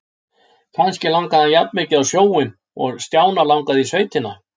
Kannski langaði hann jafnmikið á sjóinn og Stjána langaði í sveitina.